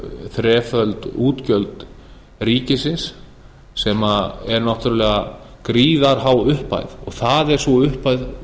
þreföld útgjöld ríkisins sem er náttúrlega gríðarhá upphæð og það er sú upphæð